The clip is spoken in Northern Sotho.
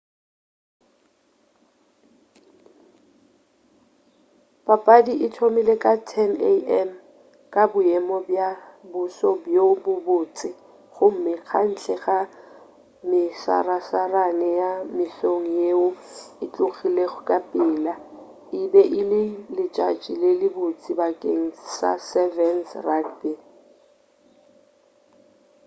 papadi e thomile ka 10:00am ka boemo bja boso bjo bo botse gomme ka ntle ga mesarasarane ya mesong yeo e tlogilego ka pela e be e le letšatši le le botse bakeng sa 7's rugby